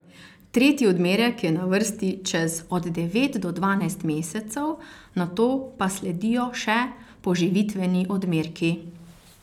Tretji odmerek je na vrsti čez od devet do dvanajst mesecev, nato pa sledijo še poživitveni odmerki.